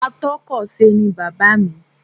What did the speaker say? Atọ́kọ̀se ni bàbáà mi.